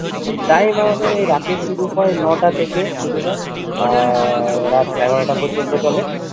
time আমাদের এই রাতে শুরু হয় ন'টা থেকে শুরু হয় আহ রাত এগারোটা পর্যন্ত চলে